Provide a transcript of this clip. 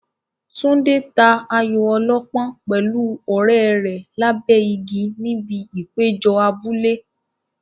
Tunde ta ayo ọlọ́pọ́n pẹ̀lú ọ̀rẹ́ rẹ̀ lábẹ́ igi níbi ìpéjọ abúlé.